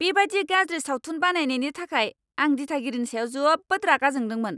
बेबायदि गाज्रि सावथुन बानायनायनि थाखाय आं दिथागिरिनि सायाव जोबोद रागा जोंदोंमोन।